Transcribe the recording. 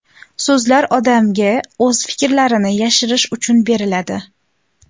So‘zlar odamga o‘z fikrlarini yashirish uchun beriladi.